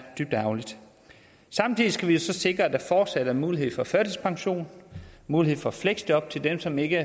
dybt ærgerligt samtidig skal vi jo så sikre at der fortsat er mulighed for førtidspension mulighed for fleksjob til dem som ikke